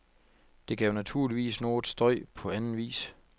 Det gav naturligvis noget støj på anden vis.